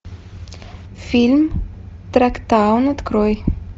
фильм трактаун открой